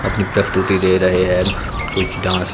अपनी प्रस्तुति दे रहे हैं कुछ डांस --